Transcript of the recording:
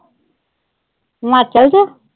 ਹਿਮਾਚਲ ਚ?